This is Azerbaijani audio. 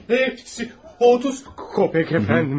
Otuz qəpik əfəndim.